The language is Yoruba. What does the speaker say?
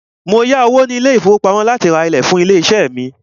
Mó yá owó ní ilé ìfọwọ́pamo láti rá ìlẹ̀ fún ilé iṣé mí.